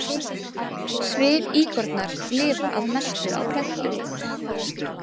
Svifíkornar lifa að mestu á plöntum.